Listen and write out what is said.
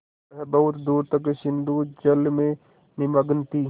वह बहुत दूर तक सिंधुजल में निमग्न थी